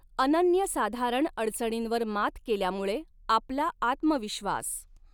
अनन्यसाधारण अडचणींवर मात केल्यामुळे आपला आत्मविश्वास